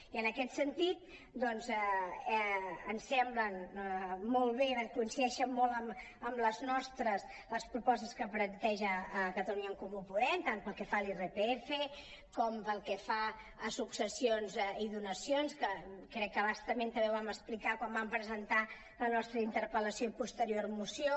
i en aquest sentit ens semblen molt bé coincideixen molt amb les nostres les propostes que planteja catalunya en comú podem tant pel que fa a l’irpf com pel que fa a successions i donacions que crec que a bastament també ho vam explicar quan vam presentar la nostra interpel·lació i posterior moció